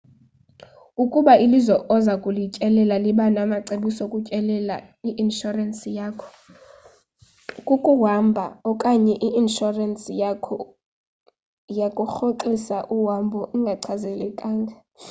ukuba ilizwe oza kulityelella liba namacebiso okutyelela i-inshorensi yakho yokuhamba okanye i-inshorensi yakho yokurhoxisa uhambo ingachaphazeleka